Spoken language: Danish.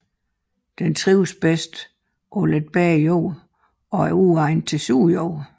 Den trives bedst på lidt bedre jorder og er uegnet til sur jord